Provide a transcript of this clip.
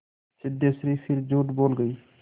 सिद्धेश्वरी फिर झूठ बोल गई